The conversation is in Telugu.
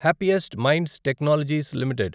happiest Minds Technologies limited